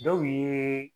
Dɔw ye